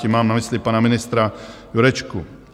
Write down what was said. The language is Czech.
Tím mám na mysli pana ministra Jurečku.